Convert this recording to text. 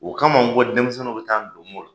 O kama n ko denmisɛnnu mi taa don